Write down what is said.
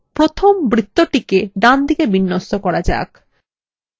প্রথমএ বৃত্তটিকে ডানদিকে বিন্যস্ত করা যাক